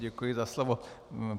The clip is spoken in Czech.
Děkuji za slovo.